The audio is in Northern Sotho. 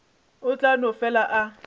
o tla no fela a